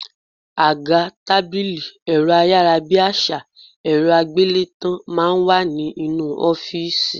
Àga, tábìlì, ẹ̀rọ ayárabíàṣá, ẹ̀rọ àgbélétan máa ń wà nínú ọ́fìsì